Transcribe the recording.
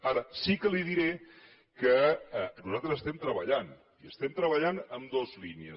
ara sí que li diré que nosaltres estem treballant i estem treballant en dues línies